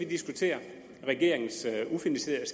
diskutere regeringens ufinansierede